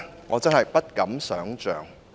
我真的不敢想象。